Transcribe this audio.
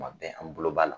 Kuma bɛɛ an bolo b'a la